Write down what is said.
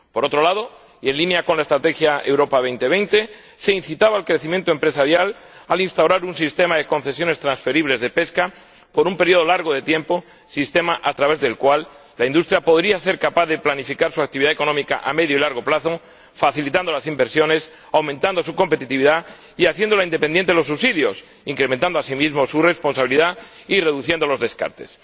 Por otro lado, y en línea con la Estrategia Europa 2020, se incitaba al crecimiento empresarial al instaurar un sistema de concesiones transferibles de pesca, por un período largo de tiempo, sistema a través del cual la industria podría ser capaz de planificar su actividad económica a medio y largo plazo, facilitando las inversiones, aumentando su competitividad y haciéndola independiente de los subsidios, incrementando asimismo su responsabilidad y reduciendo los descartes.